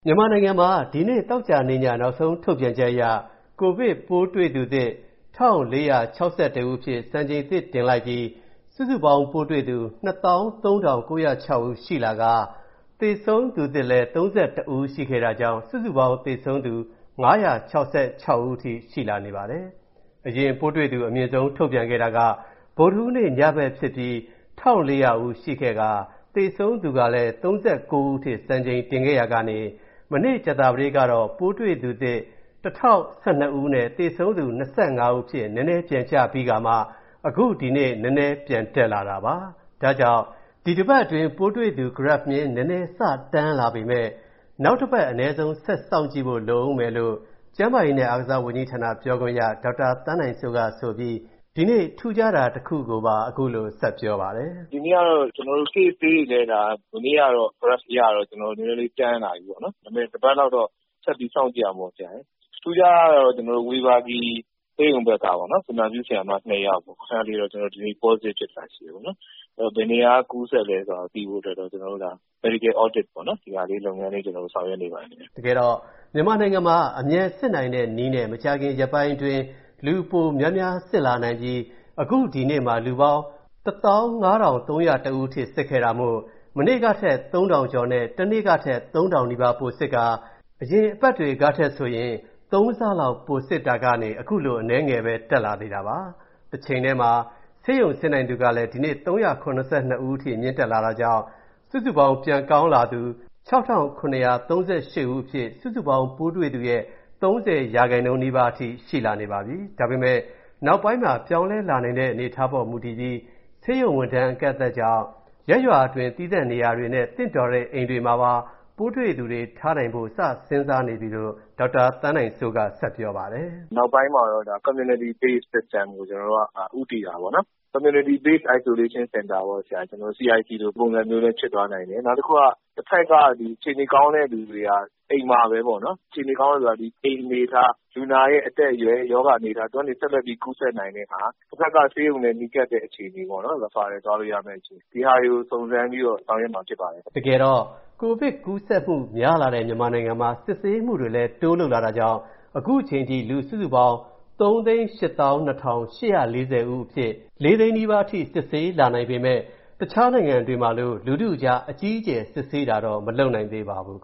မြန်မာနိုင်ငံမှာ သောကြာနေ့ညနောက်ဆုံးထုတ်ပြန်ချက်အရ ပိုးတွေ့သူသစ် ၁,၄၆၁ စံချိန်သစ်ထပ်တင်ခဲ့ပြီး စုစုပေါင်းပိုးတွေ့သူ ၂၃,၉၀၆ ဦးရှိလာကာ၊ သေဆုံးသူသစ်လည်း ၃၁ ဦး ရှိခဲ့တာကြောင့်၊ စုစုပေါင်းသေဆုံးသူ ၅၆၆ ဦး အထိရှိလာနေပါတယ်။ အရင်ပိုးတွေ့သူအမြင့်ဆုံးထုတ်ပြန်ခဲ့တာက ဗုဒ္ဓဟူးနေ့ညဘက်ကဖြစ်ပြီး၊ ၁,၄၀၀ ရှိခဲ့ပြီး၊ သေဆုံးသူကလည်း ၃၉ ဦးအထိ စံချိန်တင်ခဲ့ရာကနေ၊ မနေ့ ကြာသပတေးကတော့ ပိုးတွေ့သူ ၁,၀၁၂ ဦးနဲ့ သေဆုံးသူ ၂၅ ဦးအဖြစ်နည်းနည်း ပြန်ကျပြီး၊ အခု ဒီနေ့ နည်းနည်း ပြန်တက်လာတာပါ။ ဒါကြောင့် ဒီတစ်ပတ်အတွင်း ပိုးတွေ့သူ ဂရပ်ဖ်မျဉ်း နည်းနည်း စ တန်းလာပေမဲ့၊ နောက်တစ်ပတ် အနည်းဆုံးဆက်စောင့်ကြည့်ဖို့လိုဦးမယ်လို့ ကျန်းမာရေးနဲ့ အားကစားဝန်ကြီးဌာန ပြောခွင့်ရ ဒေါက်တာ သန်းနိုင်စိုးကဆိုပြီး၊ ဒီနေ့ ထူးခြားတာတစ်ခုကိုပါ ဆက်ပြောပါတယ်။ “ဒီနေ့ကတော့ Case (ပိုးတွေ့လူနာ) တွေလည်း ဒါမနေ့ကတော့ ဂရပ်ဖ်အရတော့ ကျနော်တို့ နည်းနည်းလေး တန်းလာပြီပေါ့နော်။ ဒါပေမဲ့လည်း တစ်ပတ်လောက်တော့ ဆက်ပြီးစောင့်ကြည့်ရဦးမှာပေါ့ ဆရာရယ်။ ထူးခြားတာကတော့ ဝေဘာဂီဆေးရုံဘက်ကပေါ့နော်၊ သူနာပြုဆရာမ ၂ ယောက်၊ အဲ့ဒါလေးတော့ ဒီနေ့ Positive (ပိုးတွေ့တာ) ဖြစ်တာရှိတယ်ပေါ့နော်။ အဲ့ဒီတော့ ဘယ်နေရာက ကူးစက်လဲဆိုတာ သိဖို့အတွက်တော့၊ ကျနော်တို့ Medial Audit (ဆေးပညာရပ်ဆိုင်ရာစစ်ဆေးတာ) ပေါ့နော်၊ ဒီဟာလေး လုပ်ငန်းလေး ဆောင်ရွက်နေပါတယ်ခင်ဗျ။” မြန်မာနိုင်ငံမှာ အမြန်စစ်နိုင်တဲ့နည်းနဲ့ မကြာခင်ရက်ပိုင်းတွင်း လူပိုများများ စစ်လာနိုင်ပြီး၊ အခုဒီနေ့မှာ လူပေါင်း ၁၅,၃၀၁ ဦးအထိ စစ်ခဲ့တာမို့၊ မနေ့ကထက် ၃,၀၀၀ ကျော်နဲ့၊ တနေ့ကထက် ၃,၀၀၀ နီးပါးပိုစစ်ခါ၊ အရင်အပတ်တွေကထက်ဆိုရင် ၃ ဆလောက်ပိုစစ်တာကနေ ခုလိုအနည်းငယ်ပဲ တက်လာသေးတာပါ။ တချိန်ထဲမှာ ဆေးရုံဆင်းနိုင်သူကလည်း ဒီနေ့ ၃၇၂ ဦးအထိမြင့်လာတာကြောင်း၊ စုစုပေါင်းပြန်ကောင်းလာသူ ၆,၇၃၈ ဦး အဖြစ်၊ စုစုပေါင်းပိုးတွေသူရဲ့ ၃၀ ရာခိုင်နှုန်း နီးပါး အထိရှိလာနေပြီ။ ဒါပေမဲ့ နောက်ပိုင်းမှာ ပြောင်းလဲလာနိုင်တဲ့ အနေအထားပေါ် မူတည်ပြီး ဆေးရုံဝန်ထမ်းအကန့်အသတ်ကြောင့် ရပ်ရွာအတွင်း သီးသန့်နေရာတွေနဲ့ သင့်တော်တဲ့အိမ်တွေမှာပါ ပိုးတွေ့သူတွေထားနိုင်ဖို့ စဉ်းစားနေပြီလို့ ဒေါက်တာသန်းနိုင်စိုးက ဆက်ပြောပါတယ်။ “နောက်ပိုင်းမှာတော့ ဒါ Community-based System (ရပ်ရွာအခြေပြုစနစ်) ကို ကျနော်တို့က ဦးတည်တာပေါ့နော်။ Community-based Isolation Center (CIC) ပေါ့ဆရာ။ နောက်တစ်ခုက၊ တဘက်က အခြေအနေကောင်းတဲ့သူတွေက၊ အိမ်မှာပဲပေါ့နော်။ အခြေအနေကောင်းတယ်ဆိုတာက၊ ဒီအိမ်အနေအထား၊ လူနာရဲ့အသက်အရွယ်၊ ရောဂါအနေအထား၊ သူကနေဆက်လက်ပြီး ကူးနိုင်တဲ့ဟာ၊ တစ်ဘက်က ဆေးရုံနဲ့နီးကပ်တဲ့အခြေအနေပေါ့နော်၊ Referal (ဆေးရုံပို့တာ) သွားလို့ရမယ့် အခြေအနေ၊ ဒီဟာတွေကိုစုံစမ်းပြီးတော့ ဆောင်ရွက်မှာဖြစ်ပါတယ်။” မြန်မာနိုင်ငံမှာ စစ်ဆေးမှုတွေကို တိုးလုပ်လာတာကြောင့် ခုချိန်ထိ လူူစုစုပေါင်း ၃၈,၂၄၀ ဦးအဖြစ် ၄၀၀,၀၀၀ နီးပါးအထိစစ်ဆေးလာနိုင်ပေမဲ့၊ အခြားနိုင်ငံတွေမှာလို လူထုအကြား အကြီးအကျယ်စစ်ဆေးတာတော့ မလုပ်နိုင်သေးပါဘူး။